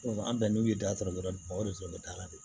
an bɛn n'u ye da sɔrɔ dɔrɔn o de sɔrɔ bɛ dala de